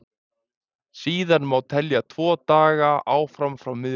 síðan má telja tvo daga áfram frá miðvikudegi